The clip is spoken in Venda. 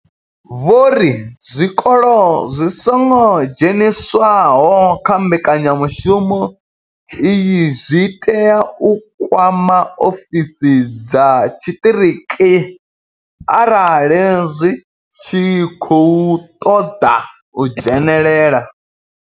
Vho ri zwikolo zwi songo dzheniswaho kha mbekanyamushumo iyi zwi tea u kwama ofisi dza tshiṱiriki arali zwi tshi khou ṱoḓa u dzhenelela.